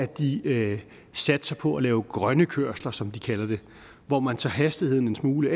de satser på at lave grønne kørsler som de kalder det hvor man sætter hastigheden en smule